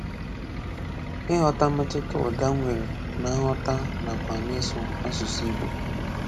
Ịghọta mmetụta ụda nwere na nghọta nakwa n'ịsụ asụsụ Igbo